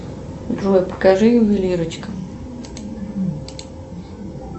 джой покажи ювелирочка